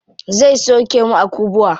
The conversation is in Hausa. Zai sauke mu a kubwa.